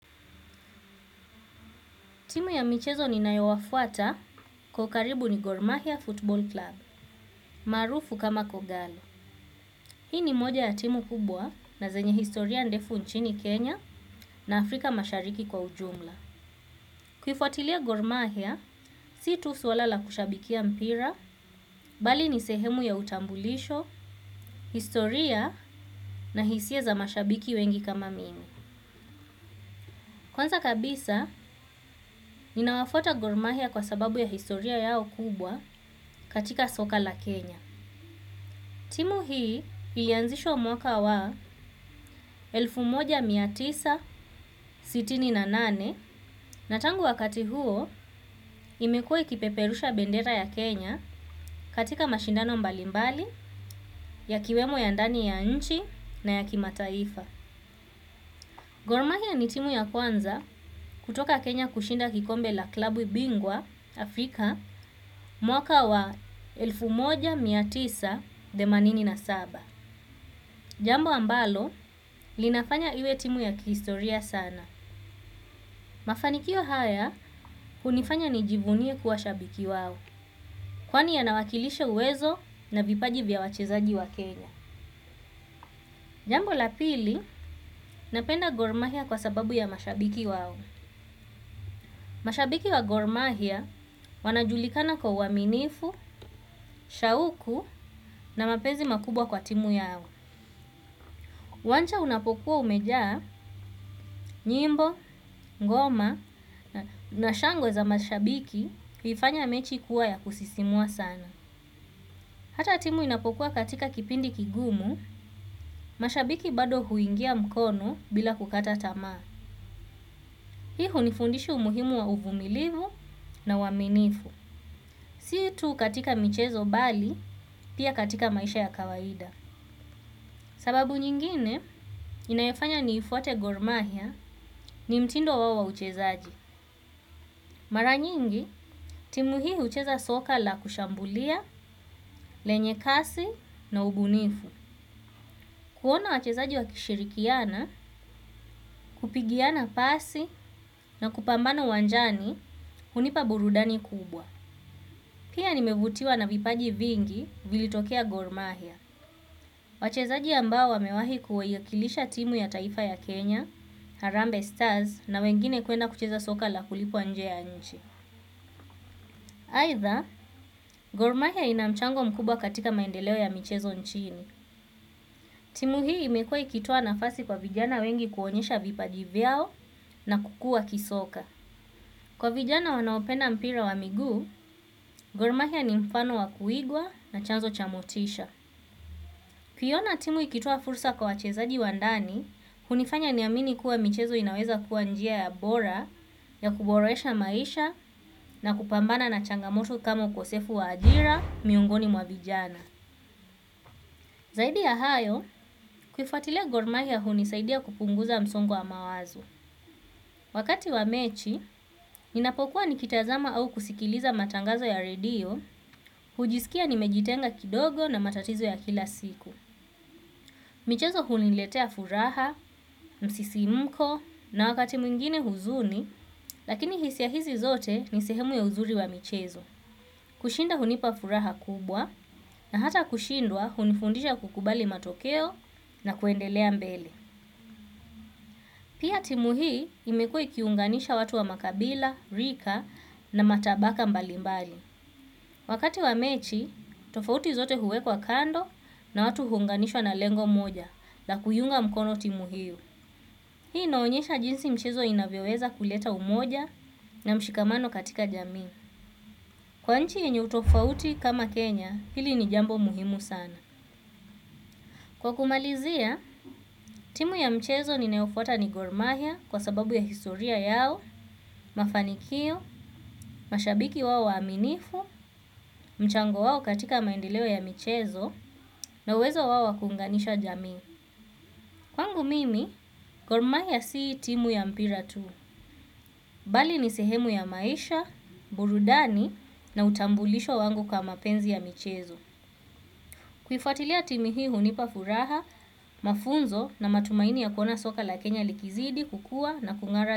Timu ya michezo ninayawafuata kwa ukaribu ni Gormahia Football Club, maarufu kama kogalo. Hii ni moja ya timu kubwa na zenye historia ndefu nchini Kenya na Afrika mashariki kwa ujumla. Kuifuatilia gor mahia si tu swala la kushabikia mpira bali ni sehemu ya utambulisho historia na hisia za mashabiki wengi kama mimi. Kwanza kabisa, ninawafuata Gormahia kwa sababu ya historia yao kubwa katika soka la Kenya. Timu hii ilianzishwa mwaka wa elfu moja na mia tisa na sitini na nane na tangu wakati huo imekuwae ikipeperusha bendera ya Kenya katika mashindano mbalimbali ya kiwemo ya ndani ya nchi na ya kima taifa. Gormahia ni timu ya kwanza kutoka Kenya kushinda kikombe la klabu bingwa Afrika mwaka wa elfuoja mia tisa themanini na saba. Jambo ambalo, linafanya iwe timu ya kihistoria sana. Mafanikio haya hunifanya nijivunie kuwa shabiki wao. Kwani yanawakilisha uwezo na vipaji vya wachezaji wa Kenya. Jambo la pili, napenda gormahia kwa sababu ya mashabiki wao. Mashabiki wa gormahia, wanajulikana kwa uaminifu, shauku na mapenzi makubwa kwa timu yao. Uwanja unapokuwa umejaa, nyimbo, ngoma na shangwe za mashabiki huifanya mechi kuwa ya kusisimua sana. Hata timu inapokuwa katika kipindi kigumu, mashabiki bado huingia mkono bila kukata tamaa. Hii hunifundisha umuhimu wa uvumilivu na waminifu. Si tu katika michezo bali, pia katika maisha ya kawaida. Sababu nyingine, inayofanya niifuate gormahia ni mtindo wao wa uchezaji. Mara nyingi, timu hii hucheza soka la kushambulia, lenye kasi na ubunifu. Kuona wachezaji wakishirikiana, kupigiana pasi na kupambanola ywanjani, hunipa burudani kubwa. Pia nimevutiwa na vipaji vingi vilitokea gormahia. Wachezaji ambao wamewahi kuwakilisha timu ya taifa ya Kenya, Harambe Stars na wengine kuenda kucheza soka la kulipwa nje ya nchi. Aidha, gormahia ina mchango mkubwa katika maendeleo ya michezo nchini. Timu hii imekuwa ikitoa nafasi kwa vijana wengi kuonyesha vipaji vyao na kukua kisoka. Kwa vijana wanaopenda mpira wa miguu. Gormahia ni mfano wa kuigwa na chanzo cha motisha. Kuiona timu ikitla fursa kwa wachezaji wa ndani, hunifanya niamini kuwa michezo inaweza kuwa njia ya bora, ya kuboresha maisha na kupambana na changamoto kama ukosefu wa ajira, miongoni mwa vijana. Zaidi ya hayo, kuifuatilia gormahia hunisaidia kupunguza msungo wa mawazo. Wakati wa mechi, ninapokuwa nikitazama au kusikiliza matangazo ya redio, hujisikia nimejitenga kidogo na matatizo ya kila siku. Michezo huniletea furaha, msisimuko na wakati mwingine huzuni, lakini hisia hizi zote ni sehemu ya uzuri wa michezo. Kushinda hunipa furaha kubwa na hata kushindwa hunifundisha kukubali matokeo na kuendelea mbele. Pia timu hii imekuwa ikiunganisha watu wa makabila, rika na matabaka mbalimbali. Wakati wa mechi, tofauti zote huwekwa kando na watu huunganishwa na lengo moja na kuiunga mkono timu hio. Hii inaonyesha jinsi mchezo inavyoweza kuleta umoja na mshikamano katika jamii. Kwa nchi yenye utofauti kama Kenya, hili ni jambo muhimu sana. Kwa kumalizia timu ya mchezo ninayofuata ni gor mahia kwa sababu ya historia yao mafanikio mashabiki waaminifu mchango wao katika maendeleo ya michezo na uwezo wa kuunganisha jamii. Kwangu mimi, gormahia si timu ya mpira tu, bali ni sehemu ya maisha, burudani na utambulisho wangu kwa mapenzi ya michezo. Kuifuatilia timu hii hunipa furaha, mafunzo na matumaini ya kuona soka la Kenya likizidi, kukua na kungara.